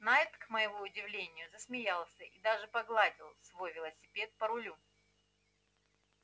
найд к моему удивлению засмеялся и даже погладил свой велосипед по рулю